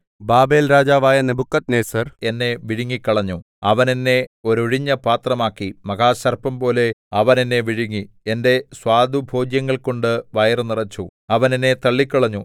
ബാബേൽരാജാവായ നെബൂഖദ്നേസർ എന്നെ വിഴുങ്ങിക്കളഞ്ഞു അവൻ എന്നെ ഒരൊഴിഞ്ഞ പാത്രമാക്കി മഹാസർപ്പം പോലെ അവൻ എന്നെ വിഴുങ്ങി എന്റെ സ്വാദുഭോജ്യങ്ങൾകൊണ്ട് വയറു നിറച്ചു അവൻ എന്നെ തള്ളിക്കളഞ്ഞു